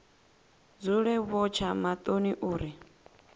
dzule vho tsha maṱoni uri